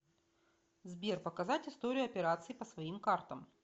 сбер показать историю операций по своим картам